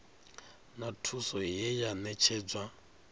na thuso ye ya ṋetshedzwa